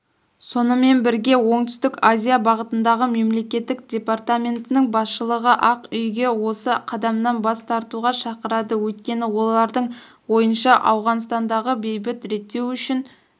сонымен бірге оңтүстік азия бағытындағы мемлекеттік департаментінің басшылығыақ үйге осы қадамдан бас тартуға шақырады өйткені олардың ойынша ауғанстандағы бейбіт реттеу үшін